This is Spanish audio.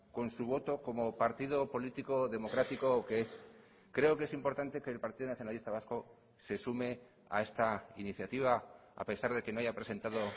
con su voto como partido político democrático que es creo que es importante que el partido nacionalista vasco se sume a esta iniciativa a pesar de que no haya presentado